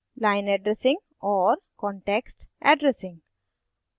line addressing और context addressing